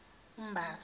umbasa